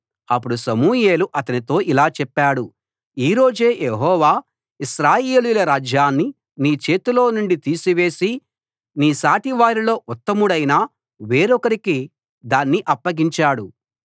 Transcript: అప్పుడు సమూయేలు అతనితో ఇలా చెప్పాడు ఈ రోజే యెహోవా ఇశ్రాయేలీయుల రాజ్యాన్ని నీ చేతిలో నుండి తీసివేసి నీ సాటి వారిలో ఉత్తముడైన వేరొకరికి దాన్ని అప్పగించాడు